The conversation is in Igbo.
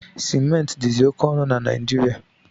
Sementi dizi oke onu na Najirịa